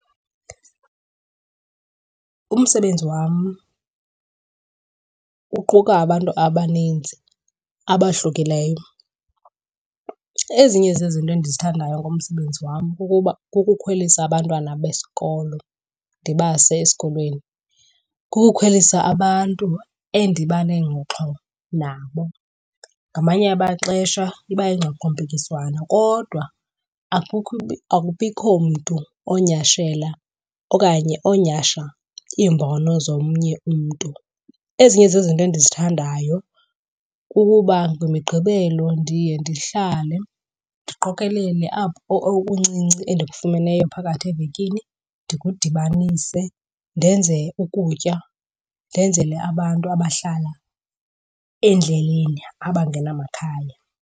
Umsebenzi wam uquka abantu abaninzi abahlukileyo. Ezinye zezinto endizithandayo ngomsebenzi wam kukuba kukukhwelisa abantwana besikolo ndibase esikolweni, kukukhwelisa abantu endiba nengxoxo nabo. Ngamanye amaxesha iba yingxoxompikiswano kodwa akubikho mntu onyhashela okanye onyhasha iimbono zomnye umntu. Ezinye zezinto endizithandayo kukuba ngeMigqibelo ndiye ndihlale ndiqokelele apho okuncinci endikufumeneyo phakathi evekini ndikudibanise ndenze ukutya, ndenzele abantu abahlala endleleni abangenamakhaya.